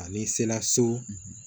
A n'i sela so